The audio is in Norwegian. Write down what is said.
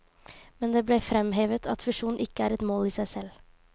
Men det ble fremhevet at fusjon ikke er et mål i seg selv.